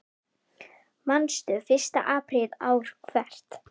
Manstu: Fyrsta apríl ár hvert.